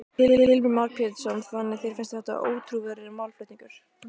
Heimir Már Pétursson: Þannig að þér finnst þetta ótrúverðugur málflutningur?